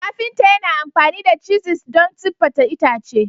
Kafinta yana amfani da cisis don siffata itace.